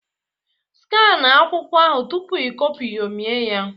Skania akwụkwọ ahụ tupu i copyomi ya